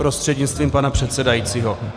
Prostřednictvím pana předsedajícího.